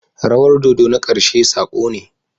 Rawar dodo na ƙarshe sako ne.